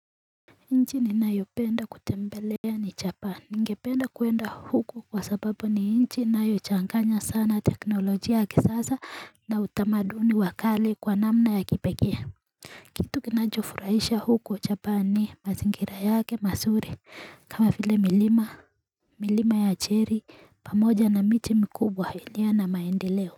Nchi ninayopenda kutembelea ni Japan. Ningependa kuenda huko kwa sababu ni nchi inayochanganya sana teknolojia ya kisasa. Na utamaduni wa kale kwa namna ya kipekee. Kitu kinachofurahisha huko Japan ni mazingira yake mazuri. Kama vile milima. Milima ya Cherry pamoja na miti mikubwa ilio na maendileo.